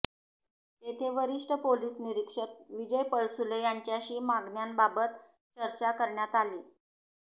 तेथे वरिष्ठ पोलीस निरीक्षक विजय पळसुले यांच्याशी मागण्यांबाबत चर्चा करण्यात आली